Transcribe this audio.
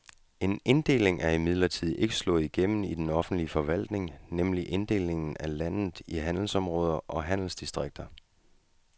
En inddeling er imidlertid ikke slået igennem i den offentlige forvaltning, nemlig inddelingen af landet i handelsområder og handelsdistrikter.